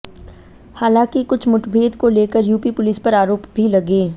हालांकि कुछ मुठभेड़ को लेकर यूपी पुलिस पर आरोप भी लगे